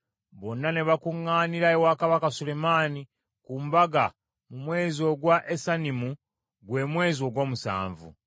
Bonna ne bakuŋŋaanira ewa Kabaka Sulemaani ku mbaga mu mwezi ogwa Esanimu gwe mwezi ogw’omusanvu.